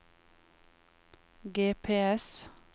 GPS